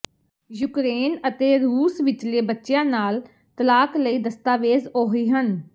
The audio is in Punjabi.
ਯੂਕਰੇਨ ਅਤੇ ਰੂਸ ਵਿਚਲੇ ਬੱਚਿਆਂ ਨਾਲ ਤਲਾਕ ਲਈ ਦਸਤਾਵੇਜ਼ ਉਹੀ ਹਨ